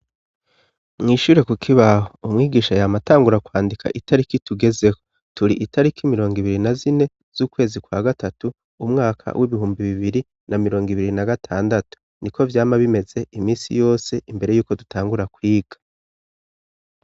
Mw'ishure ku kibaho umwigisha yam'atangura kwandika itariki tugezeko, turi itariki mirong' ibiri na zine z'ukwezi kwa gatatu umwaka w'ibihumbi bibiri na mirong' ibiri na gatandatu niko vyama bimeze imisi yose imbere yuko dutangura kwiga.